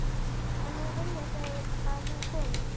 Já en nú vilja þau að hún komi